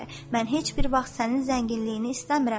Mən heç bir vaxt sənin zənginliyini istəmirəm.